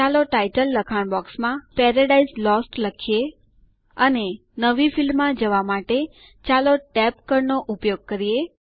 ચાલો ટાઇટલ લખાણ બોક્સમાં પેરાડાઇઝ લોસ્ટ લખીએ અને નવી ફિલ્ડ માં જવા માટે ચાલો ટેબ કળ નો ઉપયોગ કરીએ